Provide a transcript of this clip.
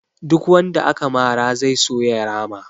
Duk wanda aka mara zai so ya rama